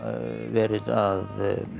verið að